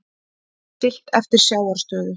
Siglt eftir sjávarstöðu